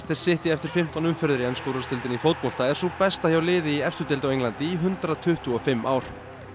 City eftir fimmtán umferðir í ensku úrvalsdeildinni í fótbolta er sú besta hjá liði í efstu deild á Englandi í hundrað tuttugu og fimm ár